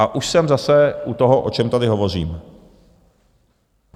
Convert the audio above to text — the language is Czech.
A už jsem zase u toho, o čem tady hovořím.